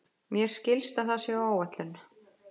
Mér skilst að það sé á áætlun.